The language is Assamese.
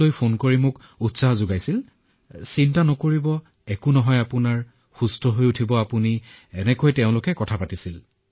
প্ৰতিদিনে ফোনত মোৰ সৈতে কথা পাতিছিল আৰু মোৰ একো নহয় মই আৰোগ্য হৈ উঠিম এনেদৰে কথা পাতিছিল